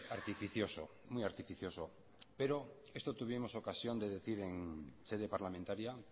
artificioso muy artificioso pero esto tuvimos ocasión de decir en sede parlamentaria